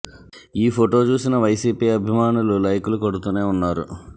ఈ ఫోటో చూసిన వైసీపీ అభిమానులు లైక్ లు కొడుతూనే ఉన్నారు